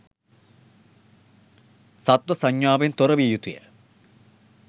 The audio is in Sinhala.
සත්ව සංඥාාවෙන් තොර විය යුතුය.